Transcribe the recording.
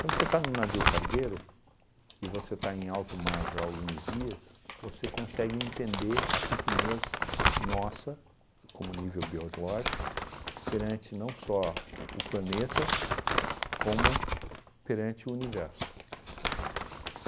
Quando você está num navio cargueiro e você está em alto mar já há alguns dias, você consegue entender a pequenez nossa como nível biológico perante não só o planeta como perante o universo.